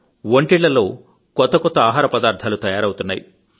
వంటిళ్లలో కొత్త కొత్త ఆహార పదార్ధాలు తయారవుతున్నాయి